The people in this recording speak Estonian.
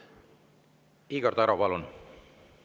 Igor Taro, palun!